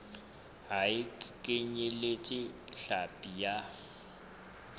ha e kenyeletse hlapi ya